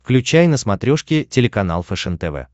включай на смотрешке телеканал фэшен тв